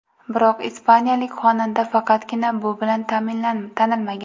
Biroq ispaniyalik xonanda faqatgina bu bilan tanilmagan.